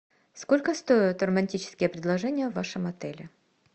сколько стоят романтические предложения в вашем отеле